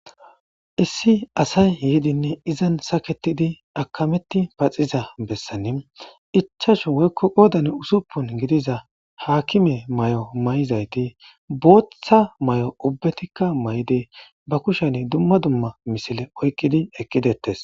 Issi asay yeedinne izan saketidi akameti paxiza bessani ichasho woykko qoodan usuppun gidiza haakime may7o may7izayti booththa may7o ubbetikka may7de ba kushen dumma dumma misile oykqidi ekkidettes